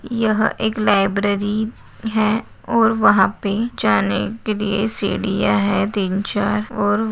यह एक लाइब्रेरी है और वहा पे जाने के लिय सीडिया है तीन-चार और --